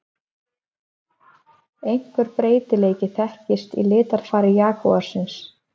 Einhver breytileiki þekkist í litarfari jagúarsins.